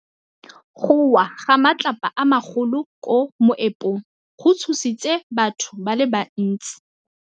Go wa ga matlapa a magolo ko moepong go tshositse batho ba le bantsi.